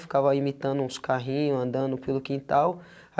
Ficava imitando uns carrinhos, andando pelo quintal.